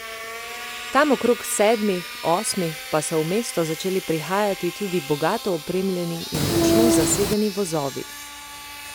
Tam okrog sedmih, osmih pa so v mesto začeli prihajati tudi bogato opremljeni in močno zasedeni vozovi.